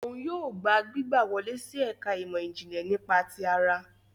Òun yóò gbà gbígbà wọle si ẹka imọ-jinlẹ nípa ti àrà